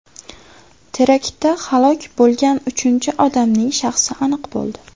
Teraktda halok bo‘lgan uchinchi odamning shaxsi aniq bo‘ldi.